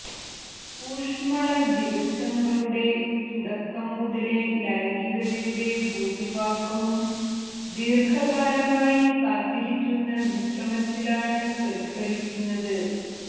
ഊഷ്മള ദിവസങ്ങളുടെ തുടക്കം മുതലേ ലൈംഗികതയുടെ ഭൂരിഭാഗവും ദീർഘകാലമായി കാത്തിരിക്കുന്ന വിശ്രമത്തിലാണ് പ്രതിഫലിക്കുന്നത്